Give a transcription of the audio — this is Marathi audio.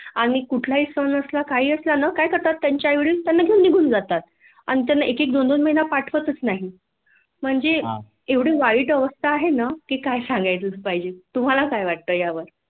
आणि कुठलाही सण असला काही असलना काय करतात त्यांचे आईवडील त्यांना घेऊन निघून जातात आणि त्यांना एक एक दोन दोन महीना पाठवतच नाही हा म्हणजे एवढी वाईट अवस्था आहे ना की काय सांगायच पाहिजे तुम्हाला काय वाटतंं यावर